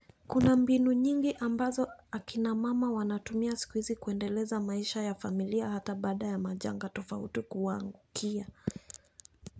Kuna mbinu nyingi ambazo hakina mama wanatumia siku hizi kuendeleza maisha ya familia hata baada ya majanga tofauti kuwaangukia.